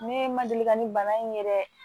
Ne ma deli ka nin bana in yɛrɛ